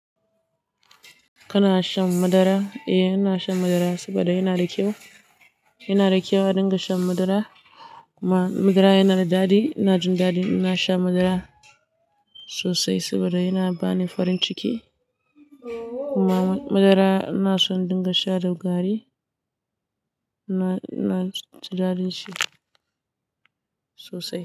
Kana shan madara? Eh, ina shan madara saboda yana da kyau. Yana da kyau a dinga shan madara kuma madara yana da daɗi. Ina jin daɗi in na sha madara sosai saboda yana bani farin ciki. Kuma madara ina son dinga sha da gari. Na, na ji daɗin shi sosai.